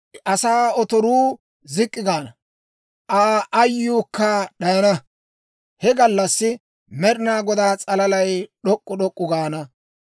Asaa otoruu zik'k'i gaana; Aa ayyuukka d'ayana. He gallassi Med'inaa Godaa s'alalay d'ok'k'u d'ok'k'u gaana;